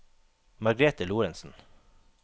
Margrete Lorentzen